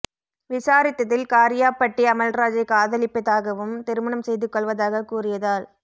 விசாரித்ததில் காரியாபட்டி அமல்ராஜை காதலிப்பதாகவும் திருமணம் செய்து கொள்வதாக கூறியதால்